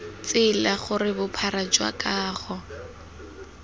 tsela gore bophara jwa kago